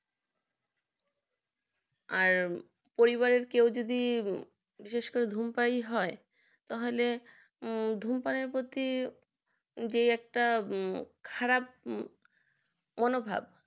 আর পরিবারে কেউ যদি বিশেষভাবে ধূমপান হয় তাহলে ধূমপানের প্রতি যে একটা খারাপ মনোভাব